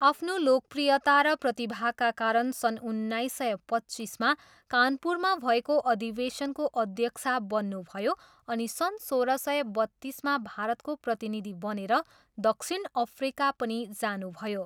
आफ्नो लोकप्रियता र प्रतिभाका कारण सन् उन्नाइस सय पच्चिसमा कानपुरमा भएको अधिवेशनको अध्यक्षा बन्नुभयो अनि सन् सोह्र सय बत्तिसमा भारतको प्रतिनिधि बनेर दक्षिण अफ्रिका पनि जानुभयो।